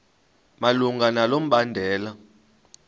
malunga nalo mbandela